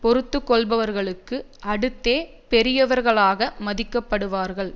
பொறுத்து கொள்ளுபவர்களுக்கு அடுத்தே பெரியவர்களாக மதிக்கப்படுவார்கள்